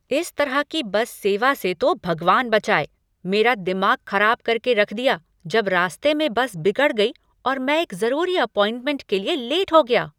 इस तरह की बस सेवा से तो भगवान बचाए! मेरा दिमाग खराब कर के रख दिया जब रास्ते में बस बिगड़ गई और मैं एक ज़रूरी अपॉइंटमेंट के लिए लेट हो गया।